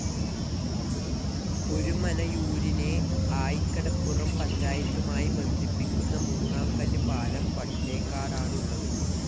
ഒരുമനയൂരിനെ, ആയികടപ്പുറം പഞ്ചായത്തുമായി ബന്ധിപ്പിക്കുന്ന മൂന്നാം കല്ല് പാലം വട്ടേക്കാടാണ് ഉള്ളത്.